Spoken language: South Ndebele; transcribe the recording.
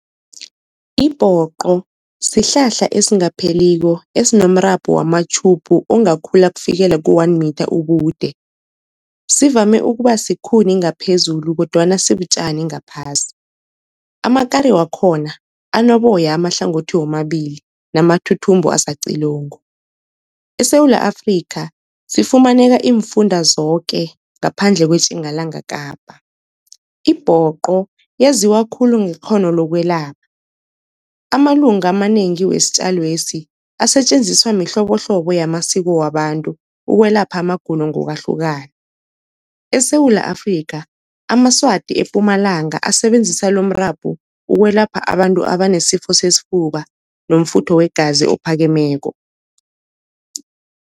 Ibhoqo sihlahla esingapheliko esinomrabhu wamatjhubhu ongakhula kufikela ku-one meter ubude, sivame ukuba sikhuni ngaphezulu kodwana sibutjani ngaphasi. Amakari wakhona anoboya amahlangothi womabili namathuthumbo asacilongo. eSewula Afrika, sifumaneka iimfunda zoke ngaphandle kweTjingalanga Kapa. Ibhoqo yaziwa khulu ngekghono lokwelapha, amalunga amanengi wesitjalo lesi asetjenziswa mihlobohlobo yamasiko wabantu ukwelapha amagulo ngokwahlukana. eSewula Afrika, amaSwati ePumalanga, asebenzisa lomrabhu ukwelapha abantu abanesifo sesifuba nomfutho wegazi ophakemeko.